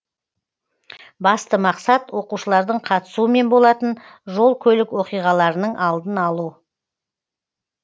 басты мақсат оқушылардың қатысуымен болатын жол көлік оқиғаларының алдын алу